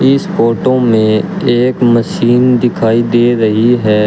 इस फोटो में एक मशीन दिखाई दे रही है।